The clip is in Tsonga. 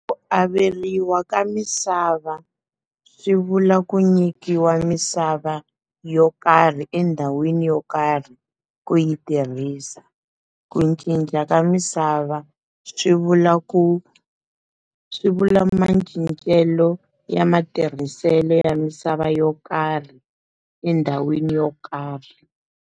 Ku averiwa ka misava swi vula ku nyikiwa misava yo karhi endhawini yo karhi ku yi tirhisa, ku cinca ka misava swi vula ku swi vula macincelo ya matirhiselo ya misava yo karhi endhawini yo karhi.